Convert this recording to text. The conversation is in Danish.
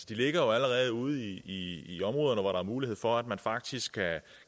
de ligger allerede ude i i områderne hvor der er mulighed for at man faktisk